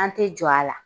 An tɛ jɔ a la